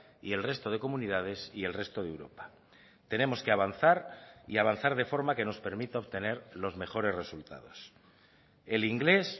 y el resto de comunidades y el resto de europa tenemos que avanzar y avanzar de forma que nos permita obtener los mejores resultados el inglés